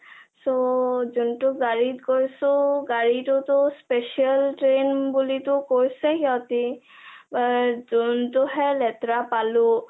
so.. জোনটো গাড়ী টো টো সিহঁতে special train বুলিটো কৈছে সিহঁতে but জোনটোহে লেতেৰা পালো